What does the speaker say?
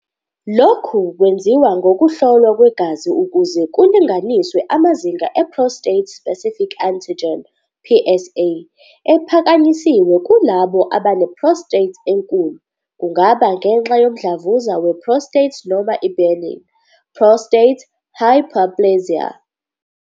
Lokhu kwenziwa ngokuhlolwa kwegazi ukuze kulinganiswe amazinga e-prostate-specific antigen, PSA, ephakanyisiwe kulabo abane-prostate enkulu, kungaba ngenxa yomdlavuza we-prostate noma i-benign prostatic hyperplasia.